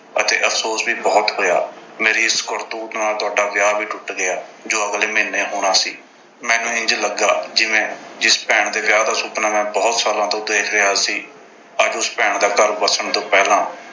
ਅਤੇ ਅਫ਼ਸੋਸ ਵੀ ਬਹੁਤ ਹੋਇਆ। ਮੇਰੀ ਇਸ ਕਰਤੂਤ ਨਾਲ ਤੁਹਾਡਾ ਵਿਆਹ ਵੀ ਟੁੱਟ ਗਿਆ ਜੋ ਅਗਲੇ ਮਹੀਨੇ ਹੋਣਾ ਸੀ। ਮੈਨੂੰ ਇੰਝ ਲੱਗਾ ਜਿਵੇਂ, ਜਿਸ ਭੈਣ ਦੇ ਵਿਆਹ ਦਾ ਸੁਪਨਾ ਮੈਂ ਬਹੁਤ ਸਾਲਾਂ ਤੋਂ ਦੇਖ ਰਿਹਾ ਸੀ। ਅੱਜ ਉਸ ਭੈਣ ਦਾ ਘਰ ਵਸਣ ਤੋਂ ਪਹਿਲਾਂ